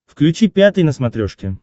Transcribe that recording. включи пятый на смотрешке